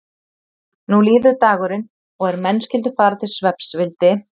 Nú líður dagurinn og er menn skyldu fara til svefns vildi